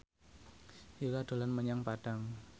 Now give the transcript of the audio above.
Yura dolan menyang Padang